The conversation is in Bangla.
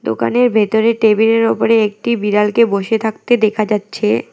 দোকানের ভেতরে টেবিল এর ওপরে একটি বিড়ালকে বসে থাকতে দেখা যাচ্ছে।